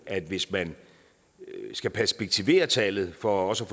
at hvis man skal perspektivere tallet for også